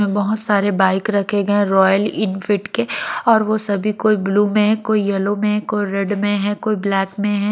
बहोत सारे बाइक रखे गए रॉयल इनफिट के और वो सभी कोई ब्लू में कोई येलो में कोई रेड में है कोई ब्लैक में है।